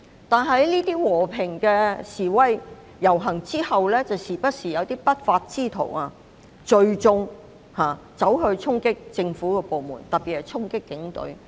但在這些和平示威遊行過後卻不時有不法之徒聚眾衝擊政府部門，特別是警隊。